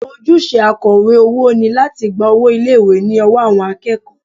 Ojúṣe akọ̀wé owó ni láti gba owó ilé ìwé ní ọwọ́ àwọn akẹ́kọ̀ọ́